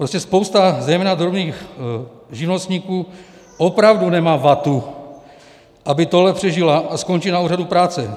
Prostě spousta zejména drobných živnostníků opravdu nemá vatu, aby tohle přežila, a skončí na úřadu práce.